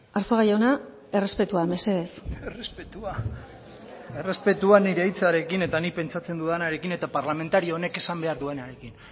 arzuaga jauna errespetua mesedez errespetua errespetua nire hitzarekin eta nik pentsatzen dudanarekin eta parlamentario honek esan behar duenarekin